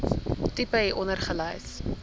tipe hieronder gelys